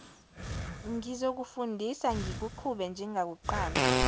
ngizokufundisa ngikuqhube njengakuqala